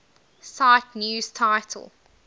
cite news title